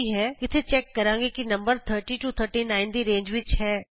ਇਥੇ ਅਸੀਂ ਚੈਕ ਕਰਦੇ ਹਾਂ ਕਿ ਕੀ ਨੰਬਰ 30 39 ਦੀ ਰੇਂਜ ਵਿਚ ਹੈ